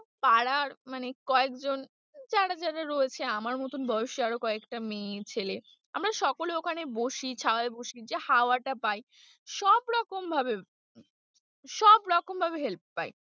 পাড়ার মানে কয়েকজন যারা যারা রয়েছে আমার মতো বয়সী আরও কয়েকটা মেয়ে ছেলে আমরা সকলে ওখানে বসি ছায়ায় বসি যে হওয়া টা পাই সবরকম ভাবে, সবরকম ভাবে help পাই।